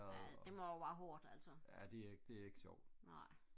ja det må er bare hårdt altså nej